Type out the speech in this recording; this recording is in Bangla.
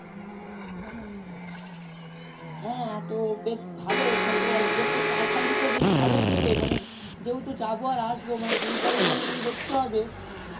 হ্যা তো বেশ ভালোই তাহলে তো ওতে charge servis ও বেশ ভালোই দিবে মানে যেহেতু যাবো আর আসবো মানে দুই time এ দেখতে হবে